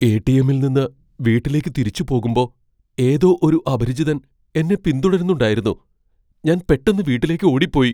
എ.ടി.എമ്മിൽ നിന്ന് വീട്ടിലേക്ക് തിരിച്ചു പോകുമ്പോ ഏതോ ഒരു അപരിചിതൻ എന്നെ പിന്തുടരുന്നുണ്ടായിരുന്നു, ഞാൻ പെട്ടന്ന് വീട്ടിലേക്ക് ഓടിപ്പോയി .